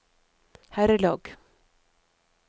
herrelag